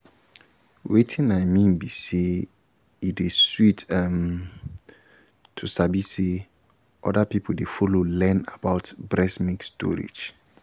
wetin i mean be say e dey sweet ehm to sabi say um other um people dey follow learn about breast milk storage